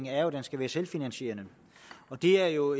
er at den skal være selvfinansierende og det er jo